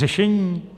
Řešení?